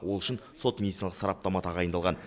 ол үшін сот медициналық сараптама тағайындалған